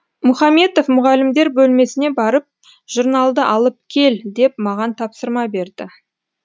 мұхаметов мұғалімдер бөлмесіне барып журналды алып кел деп маған тапсырма берді